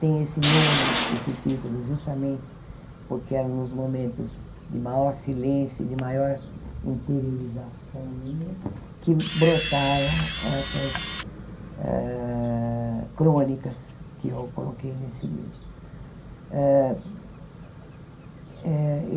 Tem esse nome, esse título, justamente porque eram nos momentos de maior silêncio e de maior interiorização minha que brotavam essas ah crônicas que eu coloquei nesse livro. ah eh